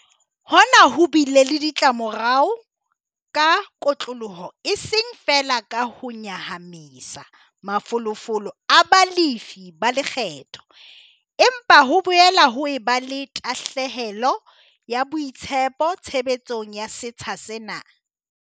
Hona ho bile le ditlamorao ka kotloloho eseng feela ka ho nyahamisa mafolofolo a balefi ba lekgetho, empa ho boela ho eba le tahlehelo ya boitshepo tshebetsong ya setsha sena.